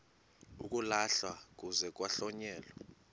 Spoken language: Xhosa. uyalahlwa kuze kuhlonyelwe